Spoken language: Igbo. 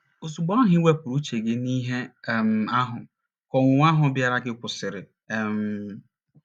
Ozugbo ahụ i wepụrụ uche gị n’ihe um ahụ, ka ọnwụnwa ahụ bịaara gị kwụsịrị. um